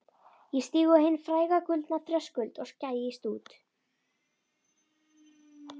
Ég stíg á hinn fræga gullna þröskuld og gægist út.